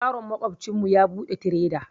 Yaron maƙwabcin mu ya buɗe tireda